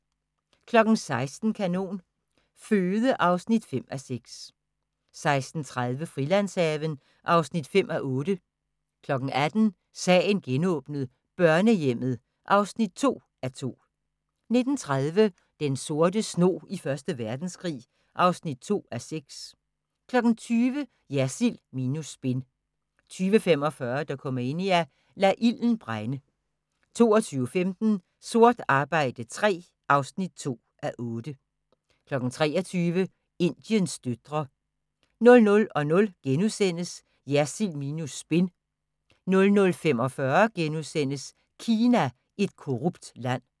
16:00: Kanon Føde (5:6) 16:30: Frilandshaven (5:8) 18:00: Sagen genåbnet: Børnehjemmet (2:2) 19:30: Den sorte snog i Første Verdenskrig (2:6) 20:00: Jersild minus spin 20:45: Dokumania: Lad ilden brænde 22:15: Sort arbejde III (2:8) 23:00: Indiens døtre 00:00: Jersild minus spin * 00:45: Kina – et korrupt land *